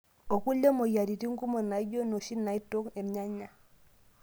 Okulie moyiaritin kumok naaijio nnoshi naaitok irnyanya.